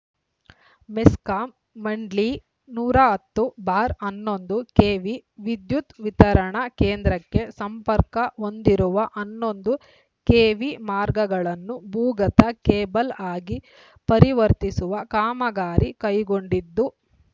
ಮೆಸ್ಕಾಂ ಮಂಡ್ಲಿ ನೂರ ಹತ್ತು ಬಾರ್ ಹನ್ನೊಂದು ಕೆವಿ ವಿದ್ಯುತ್‌ ವಿತರಣಾ ಕೇಂದ್ರಕ್ಕೆ ಸಂಪರ್ಕ ಹೊಂದಿರುವ ಹನ್ನೊಂದು ಕೆವಿ ಮಾರ್ಗಗಳನ್ನು ಭೂಗತ ಕೇಬಲ್‌ ಆಗಿ ಪರಿವರ್ತಿಸುವ ಕಾಮಗಾರಿ ಕೈಗೊಂಡಿದ್ದು